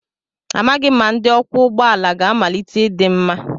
Amaghị m ma ndi ọkwọ ụgbọ ala ga-amalite ịdị mma.